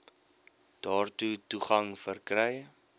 daartoe toegang verkry